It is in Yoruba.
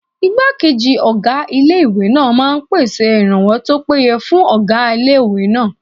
Ìgbákejì ọgá ilé-ìwé náà máa n pèsè ìrànwọ́ tó péye fún ọgá ilé-ìwé náà